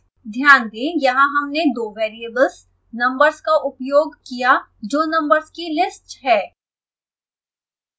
ध्यान दें यहाँ हमने दो वेरिएबल्स numbers का उपयोग किया जो नम्बर्स की list है